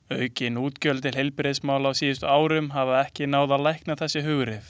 Aukin útgjöld til heilbrigðismála á síðustu árum hafa ekki náð að lækna þessi hughrif.